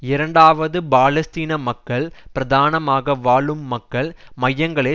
இரண்டாவதாக பாலஸ்தீன மக்கள் பிரதானமாக வாழும் மக்கள் மையங்களை